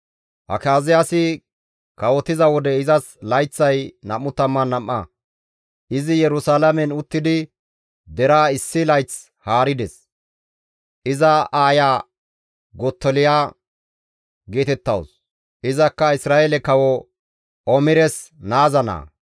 Akaziyaasi kawotiza wode izas layththay 22. Izi Yerusalaamen uttidi deraa issi layth haarides; iza aaya Gottoliya geetettawus; izakka Isra7eele kawo Omires naaza naa.